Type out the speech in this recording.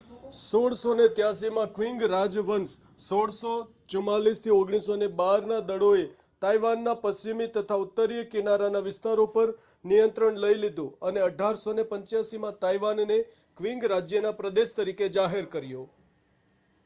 1683માં Qing રાજવંશ 1644-1912ના દળોએ તાઇવાનના પશ્ચિમી તથા ઉત્તરીય કિનારાના વિસ્તારો પર નિયંત્રણ લઈ લીધું અને 1885માં તાઇવાનને ક્વિંગ રાજ્યના પ્રદેશ તરીકે જાહેર કર્યો